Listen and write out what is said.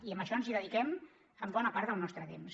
i a això ens dediquem bona part del nostre temps